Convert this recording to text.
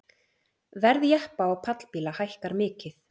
Verð jeppa og pallbíla hækkar mikið